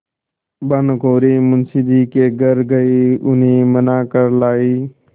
भानुकुँवरि मुंशी जी के घर गयी उन्हें मना कर लायीं